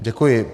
Děkuji.